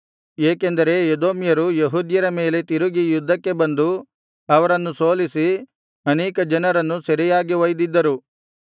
ಏಕೆಂದರೆ ಎದೋಮ್ಯರು ಯೆಹೂದ್ಯರ ಮೇಲೆ ತಿರುಗಿ ಯುದ್ಧಕ್ಕೆ ಬಂದು ಅವರನ್ನು ಸೋಲಿಸಿ ಅನೇಕ ಜನರನ್ನು ಸೆರೆಯಾಗಿ ಒಯ್ದಿದ್ದರು